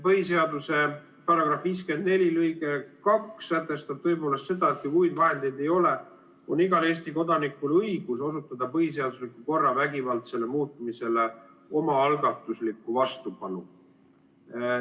Põhiseaduse § 54 lõige 2 sätestab seda, et kui muid vahendeid ei ole, on igal Eesti kodanikul õigus osutada põhiseadusliku korra vägivaldsele muutmisele omaalgatuslikku vastupanu.